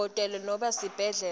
dokotela nobe sibhedlela